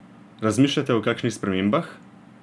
Razmišljate o kakšnih spremembah?